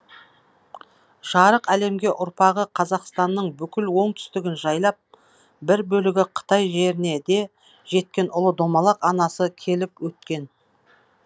жарық әлемге ұрпағы қазақстанның бүкіл оңтүстігін жайлап бір бөлегі қытай жеріне де жеткен ұлы домалақ анасы келіп өткен